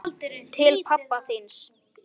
Eilítið lotinn í herðum.